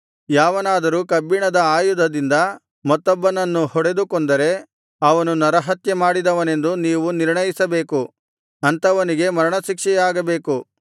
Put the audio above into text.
ಯಾವನಾದರೂ ಕಬ್ಬಿಣದ ಆಯುಧದಿಂದ ಮತ್ತೊಬ್ಬನನ್ನು ಹೊಡೆದು ಕೊಂದರೆ ಅವನು ನರಹತ್ಯೆ ಮಾಡಿದವನೆಂದು ನೀವು ನಿರ್ಣಯಿಸಬೇಕು ಅಂಥವನಿಗೆ ಮರಣಶಿಕ್ಷೆಯಾಗಬೇಕು